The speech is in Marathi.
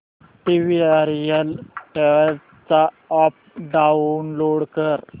वीआरएल ट्रॅवल्स चा अॅप डाऊनलोड कर